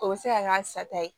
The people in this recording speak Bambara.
O bɛ se ka k'a sata ye